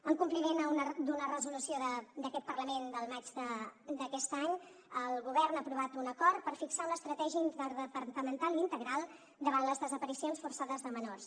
en compliment d’una resolució d’aquest parlament del maig d’aquest any el govern ha aprovat un acord per fixar una estratègia interdepartamental i integral davant les desaparicions forçades de menors